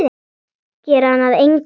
Gera hana að engu.